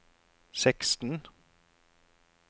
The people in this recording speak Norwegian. seksten